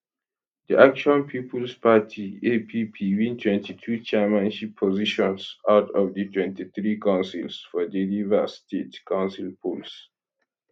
di action peoples party app win 22 chairmanship positions out of di 23 councils for di rivers state council polls